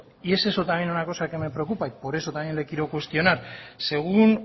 y es eso una cosa que me preocupa y por eso también le quiero cuestionar según